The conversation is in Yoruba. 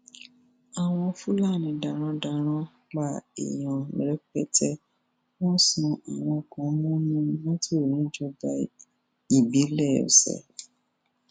àwọn fúlàní darandaran pa èèyàn rẹpẹtẹ wọn sún àwọn kan mọnú mọtò níjọba ìbílẹ ọsẹ